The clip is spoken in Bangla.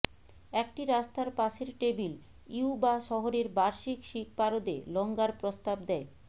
একটি রাস্তার পাশের টেবিল ইউুবা শহরের বার্ষিক শিখ পারদে লঙ্গার প্রস্তাব দেয়